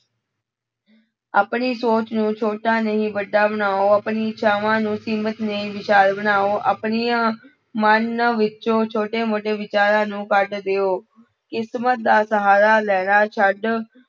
ਆਪਣੀ ਸੋਚ ਨੂੰ ਛੋਟਾ ਨਹੀਂ ਵੱਡਾ ਬਣਾਓ, ਆਪਣੀ ਇਛਾਵਾਂ ਅਸੀਮਤ ਨਹੀਂ ਵਿਸ਼ਾਲ ਬਣਾਓ, ਆਪਣੀਆਂ ਮਨ ਵਿੱਚੋਂ ਛੋਟੇ ਮੋਟੇ ਵਿਚਾਰਾਂ ਨੂੰ ਕੱਢ ਦਿਓ, ਕਿਸਮਤ ਦਾ ਸਹਾਰਾ ਲੈਣਾ ਛੱਡ